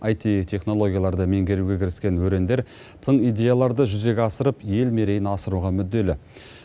аити технологияларды меңгеруге кіріскен өрендер тың идеяларды жүзеге асырып ел мерейін асыруға мүдделі